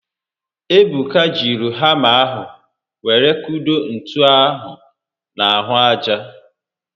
Ebuka jiri hama ahụ were kudo ntu ahụ n'ahụ aja